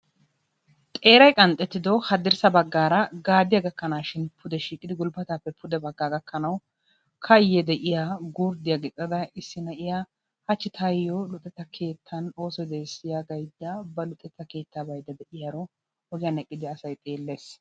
Xeeray qanxxetido hadirssa baggara gaadiya gakanashin pude shiiqi gulbbatappe pude gulbbataa gakkanawu kayye de'iyaa gurddiyaa gixxada issi na'iyaa de'iyaara hachchi taayyo luxetta keettan oosoy de'ees gaydda luxetta keettaa ba luxetta keetta baydda de'iyaaro ogiyaan eqqidi asay xeellees.